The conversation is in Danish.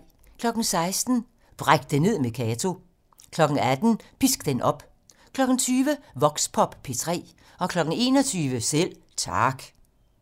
16:00: Bræk det ned med Kato 18:00: Pisk den op 20:00: Voxpop P3 21:00: Selv Tak